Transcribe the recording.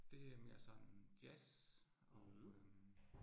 Det er mere sådan jazz og øh